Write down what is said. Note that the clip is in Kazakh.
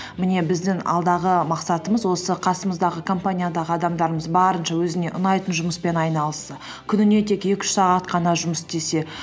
міне біздің алдағы мақсатымыз осы қасымыздағы компаниядағы адамдарымызды барынша өзіне ұнайтын жұмыспен айналысса күніне тек екі үш сағат қана жұмыс істесе